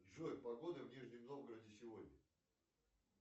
джой погода в нижнем новгороде сегодня